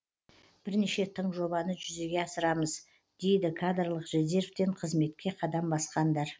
бірнеше тың жобаны жүзеге асырамыз дейді кадрлық резервтен қызметке қадам басқандар